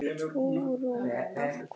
Hugrún: Af hverju?